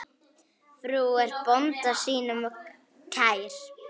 Frú er bónda sínum kær.